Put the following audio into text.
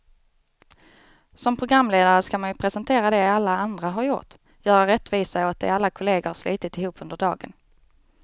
Som programledare ska man ju presentera det alla andra har gjort, göra rättvisa åt det alla kollegor har slitit ihop under dagen.